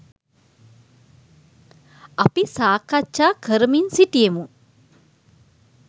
අපි සාකච්ඡා කරමින් සිටියෙමු